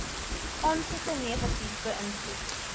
aansoeke negatief beïnvloed